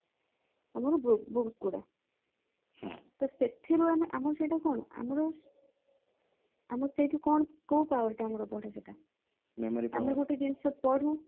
ଆଉ ଆଉ books ଗୁଡା ତ ସେଥିରୁ ଆମେ ଆମର ସେଇଟା କଣ ଆମର ଆମର ସେଥିରୁ କୋଉ କୋଉ power ଟା ଆମର ବଢେ ସେଇଟା ଆମେ ଗୋଟେ ଜିନିଷ ପଢୁ